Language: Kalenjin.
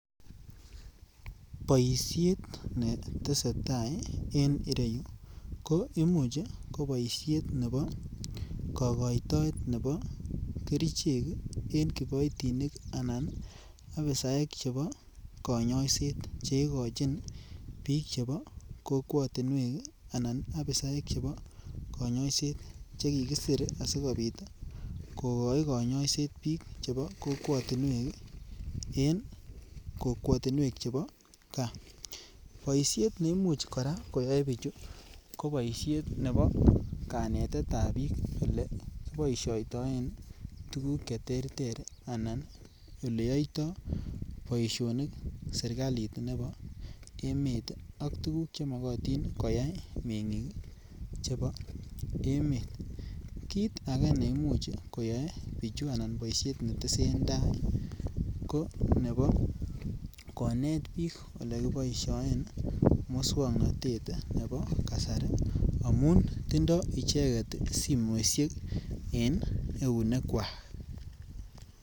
Boishet ne tesetai en ireyu ko imuch ko boishet nebo kogoitoet nebo kerichek en kiboitinik anan apisaek chebo konyoset che igochin biik che kokwotinwek anan apisaek chebo konyoiset che kikisir asikopit kogoi konyoiset biik chebo kokwotinwek en kokwetinwek chebo gaa, boishet neimuch koraa koyoe bichu ko boishet nebo kanetetab biik ele kiboishoitoen tuguk che terter anan ole yoito boisionik serkalit nebo emet ak tuguk che mogotin koyay mengiik chebo emet, kiit age neimuch koyoe bichu anan boishet ne tesentai ko nebo konet biik ole kiboishen muswognotet nebo kasari amun tindo icheget simoishek en eunekwak .